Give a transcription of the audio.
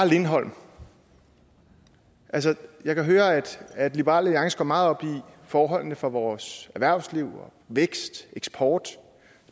lindholm altså jeg kan høre at at liberal alliance går meget op i forholdene for vores erhvervsliv i vækst og eksport